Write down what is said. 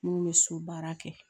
Mun bɛ so baara kɛ